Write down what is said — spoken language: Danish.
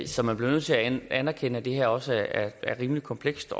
så man bliver nødt til at anerkende at det her også er rimelig komplekst